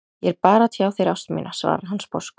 Ég er bara að tjá þér ást mína, svarar hann sposkur.